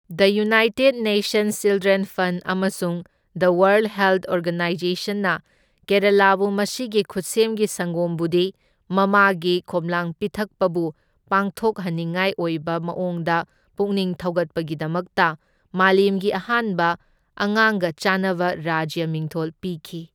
ꯗ United Nations Children Fund ꯑꯃꯁꯨꯡ the World Health ꯑꯣꯔꯒꯅꯥꯏꯖꯦꯁꯟꯅ ꯀꯦꯔꯥꯂꯥꯕꯨ ꯃꯁꯤꯒꯤ ꯈꯨꯠꯁꯦꯝꯒꯤ ꯁꯪꯒꯣꯝꯕꯨꯗꯤ ꯃꯃꯥꯒꯤ ꯈꯣꯝꯂꯥꯡ ꯄꯤꯊꯛꯄꯕꯨ ꯄꯥꯡꯊꯣꯛꯍꯟꯅꯤꯉꯥꯢ ꯑꯣꯏꯕ ꯃꯑꯣꯡꯗ ꯄꯨꯛꯅꯤꯡ ꯊꯧꯒꯠꯄꯒꯤꯗꯃꯛꯇ ꯃꯥꯂꯦꯝꯒꯤ ꯑꯍꯥꯟꯕ ꯑꯉꯥꯡꯒ ꯆꯥꯟꯅꯕ ꯔꯥꯖ꯭ꯌ ꯃꯤꯡꯊꯣꯜ ꯄꯤꯈꯤ꯫